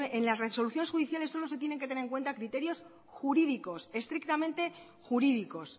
en las resoluciones judiciales solo se tienen que tener en cuenta criterios jurídicos estrictamente jurídicos